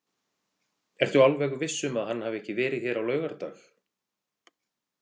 Ertu alveg viss um að hann hafi ekki verið hér á laugardag?